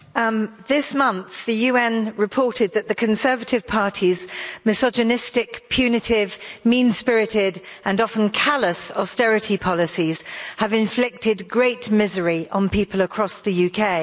Madam President, this month the UN reported that the Conservative Party's misogynistic, punitive, mean-spirited and often callous austerity policies have inflicted great misery on people across the UK.